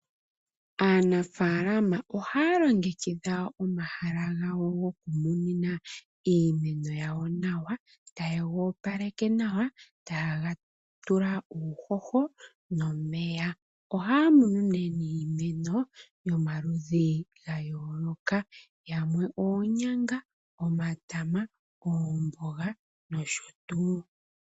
Aanafaalama ohaya longekidha omahala gawo nokumunina iimeno yawo nawa, tayegoopaleke nawa, etaye ga tula uuhoho nomeya. Ohaya munu nee niimeno yomaludhi gayooloka. Yamwe oonyanga, omatama, oomboga nosho tuu.